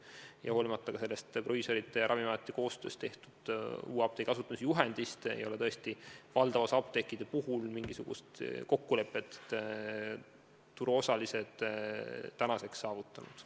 Ja hoolimata ka proviisorite ja Ravimiameti koostöös tehtud uue apteegi asutamise juhendist, ei ole tõesti valdava osa apteekide puhul mingisugust kokkulepet turuosalised veel saavutanud.